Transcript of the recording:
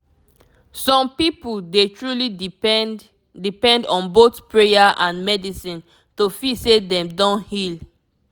some people dey truly depend depend on both prayer and medicine to feel say dem don heal